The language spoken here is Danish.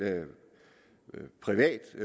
privat